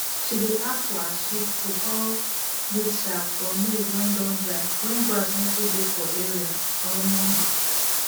she dey add for her sheep food all dis chaff from maize wey don dry when grass no too dey for area um